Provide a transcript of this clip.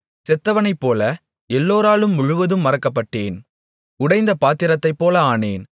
செத்தவனைப்போல எல்லோராலும் முழுவதும் மறக்கப்பட்டேன் உடைந்த பாத்திரத்தைப்போல ஆனேன்